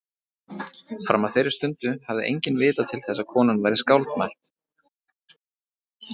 Fram að þeirri stundu hafði enginn vitað til þess að konan væri skáldmælt.